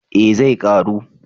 Eh zai karu